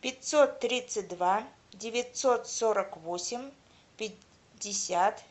пятьсот тридцать два девятьсот сорок восемь пятьдесят